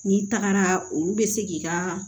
N'i tagara olu bɛ se k'i ka